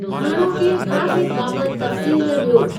हाणोके ट्रेफ़िक बाबति तफ़्सील ॾियो।